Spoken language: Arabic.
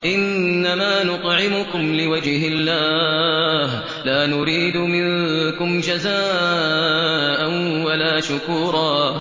إِنَّمَا نُطْعِمُكُمْ لِوَجْهِ اللَّهِ لَا نُرِيدُ مِنكُمْ جَزَاءً وَلَا شُكُورًا